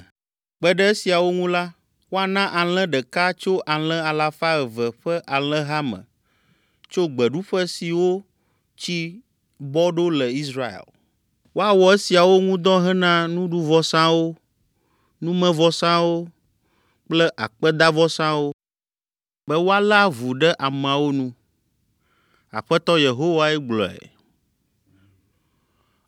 Kpe ɖe esiawo ŋu la, woana alẽ ɖeka tso alẽ alafa eve ƒe alẽha me tso gbeɖuƒe siwo tsi bɔ ɖo le Israel. Woawɔ esiawo ŋu dɔ hena nuɖuvɔsawo, numevɔsawo kple akpedavɔsawo, be woalé avu ɖe ameawo nu. Aƒetɔ Yehowae gblɔe.